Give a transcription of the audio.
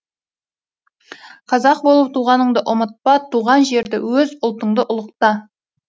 қазақ болып туғаныңды ұмытпа туған жерді өз ұлтыңды ұлықта